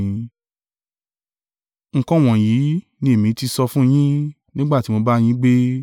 “Nǹkan wọ̀nyí ni èmi ti sọ fún yín, nígbà tí mo ń bá yín gbé.